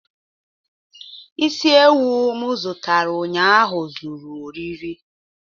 Isi ewu m zụtara ụnyaahụ ezuru oriri